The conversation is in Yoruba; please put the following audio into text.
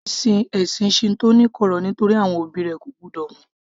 Tracey sin ẹ̀sìn Shinto ní kọ̀rọ̀ nítorí àwọn òbí rẹ̀ ko gbọ́dọ̀ mọ̀